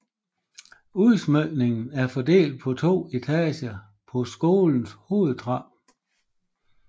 Udsmykningen er fordelt på to etager på skolens hovedtrappe